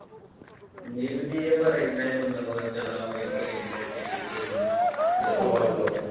ਨਿਭਦੀ ਐ ਪਰ ਏਦਾਂ ਈ ਮਤਲਬ ਜਾਂ ਤਾਂ ਉਹ ਇੱਥੇ ਰਹਿੰਦੀ ਐ ਆਪਣੇ ਪੇਕੇ ਰਹਿੰਦੀ ਐ ਜਸੜਵਾਲ ਈ ਆ ਕੇ।